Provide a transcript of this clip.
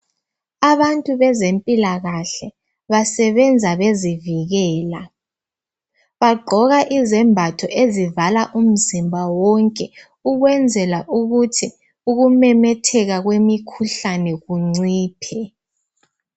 Abantu bezempila kahle basebenza bezivikela baqgoka izembatho ezivala umzimba wonke ukwenzela ukuthi ukumemetheka kwemikhuhlane kunciphe